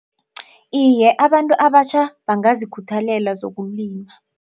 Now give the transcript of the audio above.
Iye, abantu abatjha bangazikhuthalela zokulima.